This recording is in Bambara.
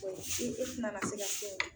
E e tɛna na se ka kɛ o.